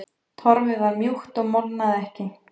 Torfið var mjúkt og molnaði ekki.